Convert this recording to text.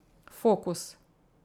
Fokus.